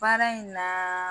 Baara in na